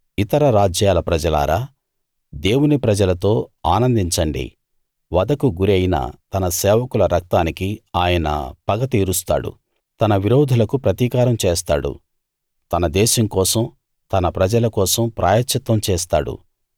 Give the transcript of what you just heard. ఇతర రాజ్యాల ప్రజలారా దేవుని ప్రజలతో ఆనందించండి వధకు గురి అయిన తన సేవకుల రక్తానికి ఆయన పగ తీరుస్తాడు తన విరోధులకు ప్రతీకారం చేస్తాడు తన దేశం కోసం తన ప్రజల కోసం ప్రాయశ్చిత్తం చేస్తాడు